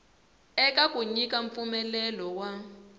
eka ku nyika mpfumelelo wa